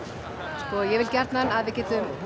sko ég vil gjarnan að við getum